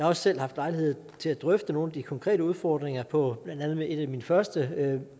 også selv haft lejlighed til at drøfte nogle af de konkrete udfordringer på blandt andet et af mine første